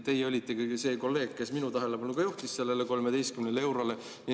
Teie olitegi see kolleeg, kes minu tähelepanu juhtis sellele 13 eurole.